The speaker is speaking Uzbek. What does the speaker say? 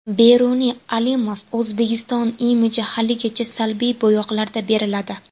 Beruniy Alimov: O‘zbekiston imiji haligacha salbiy bo‘yoqlarda beriladi.